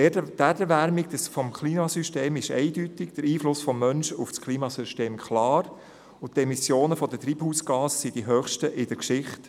Die Erwärmung des Klimasystems ist eindeutig, der Einfluss des Menschen auf das Klimasystem klar, und die Emissionen von Treibhausgasen sind die höchsten in der Geschichte.